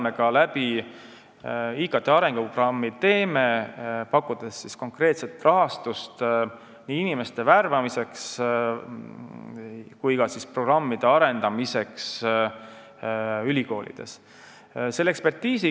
ITK arenguprogrammiga me pakumegi konkreetselt rahastust nii inimeste värbamiseks kui ka programmide arendamiseks ülikoolides.